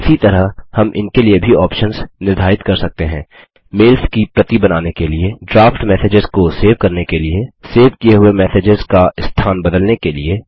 इसी तरह हम इनके लिए भी ऑप्शन्स निर्धारित कर सकते हैं मेल्स की प्रति बनाने के लिए ड्राफ्ट मैसेजेस को सेव करने के लिए सेव किये हुए मैसेजेस का स्थान बदलने के लिए